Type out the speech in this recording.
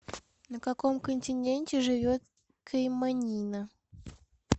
на каком континенте живет кэйманина